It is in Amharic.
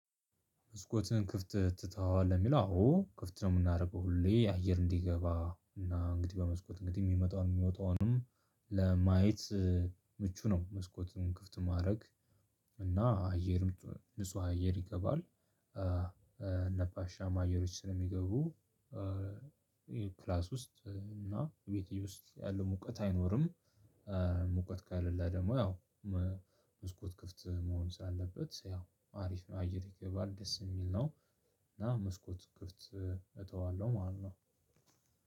መስኮትህን ክፍት ትተዋለህ የሚለው አዎ ክፍት ነው የምናደርገው ሁሌ የአየር እንዲገባ እና እንግዲህ በመስኮት እንግዲህ የሚመጣውን የሚወጣውንም ለማየት ምቹ ነው። መስኮትን ክፍት ማድረግ። እና አየርም ንጹህ አየር ይገባል። ነፋሻም አየሮች ስለሚገቡ ክላስ ውስጥ እና ቤቴ ውስጥ ያለው ሙቀት አይኖርም። ሙቀት ካሌላ ደግሞ ያው። መስኮት ክፍት መሆን ስላለበት ያው አሪፍ ነው አየር ይገባል ደስ የሚል ነው። እና መስኮት ክፍት እተዋለሁ ማለት ነው።